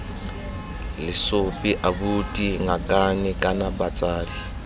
lesope abuti ngakane kana batsadi